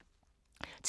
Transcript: TV 2